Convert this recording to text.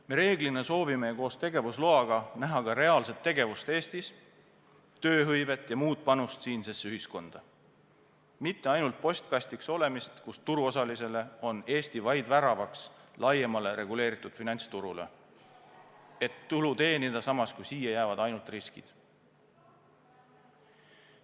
Me reeglina soovime koos tegevusloaga näha ka reaalset tegevust Eestis, tööhõivet ja muud panust siinsesse ühiskonda, mitte ainult postkastiks olemist, mille korral Eesti on turuosalistele vaid värav laiemale reguleeritud finantsturule, et tulu teenida, samas kui siia jäävad ainult riskid.